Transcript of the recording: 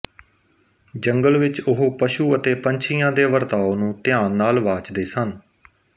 ਜੰਗਲ ਵਿੱਚ ਉਹ ਪਸ਼ੂ ਅਤੇ ਪੰਛੀਆਂ ਦੇ ਵਰਤਾਉ ਨੂੰ ਧਿਆਨ ਨਾਲ ਵਾਚਦੇ ਸਨ